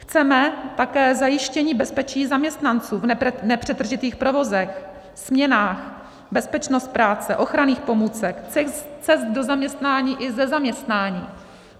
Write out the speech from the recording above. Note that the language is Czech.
Chceme také zajištění bezpečí zaměstnanců v nepřetržitých provozech, směnách, bezpečnost práce, ochranných pomůcek, cest do zaměstnání i ze zaměstnání.